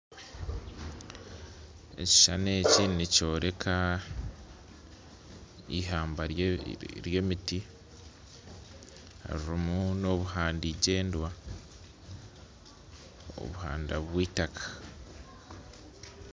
Ekishushani eki nikyoreka ihamba ry'emiti, ririmu n'obuhanda igyendwa, obuhanda bwitaka.